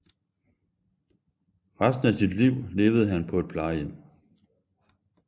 Resten af sit liv levede han på et plejehjem